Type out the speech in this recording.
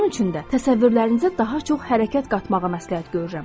Bunun üçün də təsəvvürlərinizə daha çox hərəkət qatmağı məsləhət görürəm.